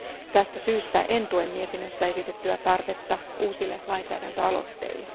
Tästä syystä en tue mietinnössä esitettyä tarvetta uusille lainsäädäntöaloitteille.